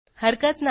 हरकत नाही